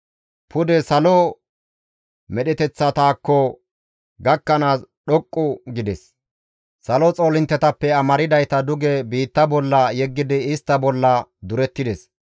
Pude salo medheteththataakko gakkanaas dhoqqu gides; salo xoolinttetappe amardayta duge biitta bolla yeggidi istta bolla durettides.